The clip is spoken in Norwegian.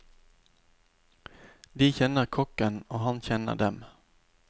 De kjenner kokken, og han kjenner dem.